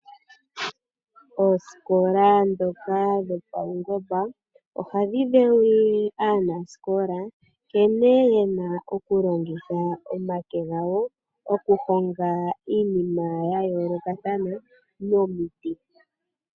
Oosikola dhoka dhopawungomba ohadhi dhewulile aanasikola nkene yena oku longitha omake gawo oku honga iinima ya yoolokathana momiti.